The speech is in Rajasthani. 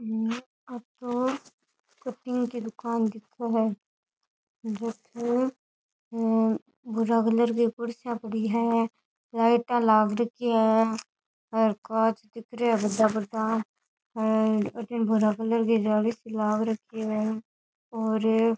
हम्म आ तो कटिंग की दुकान दिखे है जो की हे भूरा कलर की कुर्सियां पड़ी है लाइटा लाग रखी है और कांच दिख रहिया है बड़ा बड़ा हेर अठीने भूरा कलर की जाली सी लाग रखी है और --